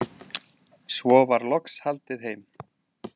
Svo var loks haldið heim.